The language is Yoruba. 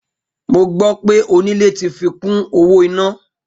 Mo gbó̩ pé onílé tí fi kún owó iná